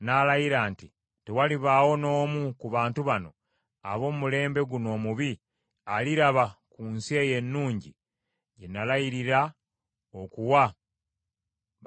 “Tewalibaawo n’omu ku bantu bano, ab’omulembe guno omubi, aliraba ku nsi eyo ennungi gye nalayirira okuwa bajjajjammwe,